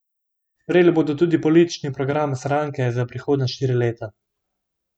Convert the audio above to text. Sprejeli bodo tudi politični program stranke za prihodnja štiri leta.